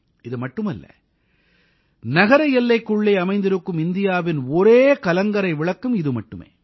இதுமட்டுமல்ல நகர எல்லைக்குள்ளே அமைந்திருக்கும் இந்தியாவின் ஒரே கலங்கரை விளக்கம் இது மட்டுமே